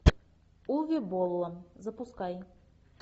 уве болла запускай